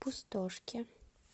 пустошке